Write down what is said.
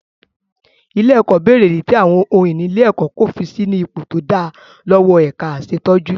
Ilé-ẹ̀kọ́ bèrè ìdí tí àwọn ohun ìní ilé-ẹ̀kọ́ kò fi sí ní ipò tó dáa lọ́wọ́ ẹ̀ka aṣètójú.